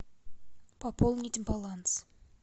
пополнить баланс